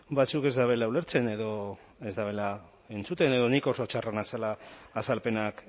batzuek ez dabela ulertzen edo ez dabela entzuten edo ni oso txarra nazela azalpenak